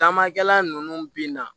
Tamakɛla ninnu bina